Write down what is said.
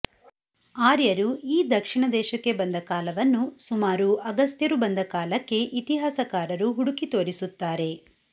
ಆರ್ಯರು ಈ ದಕ್ಷಿಣ ದೇಶಕ್ಕೆ ಬಂದ ಕಾಲವನ್ನು ಸುಮಾರು ಅಗಸ್ತ್ಯರು ಬಂದ ಕಾಲಕ್ಕೆ ಇತಿಹಾಸಕಾರರು ಹುಡುಕಿ ತೋರಿಸುತ್ತಾರೆ